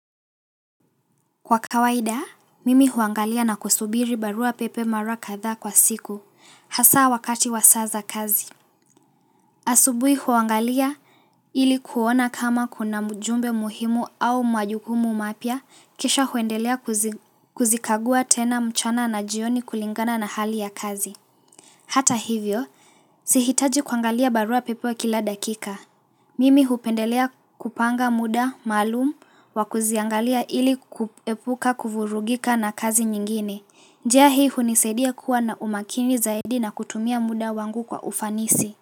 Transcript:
Kwa kawaida, mimi huangalia na kusubiri barua pepe mara kadhaa kwa siku, hasa wakati wa saa za kazi. Asubuhi huangalia ili kuona kama kuna ujumbe muhimu au majukumu mapya, kisha huendelea kuzikagua tena mchana na jioni kulingana na hali ya kazi. Hata hivyo, sihitaji kuangalia barua pepe kila dakika. Mimi hupendelea kupanga muda, maalumu, wa kuziangalia ili kuepuka kuvurugika na kazi nyingine. Njia hii hunisaidia kuwa na umakini zaidi na kutumia muda wangu kwa ufanisi.